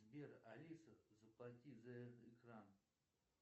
сбер алиса заплати за экран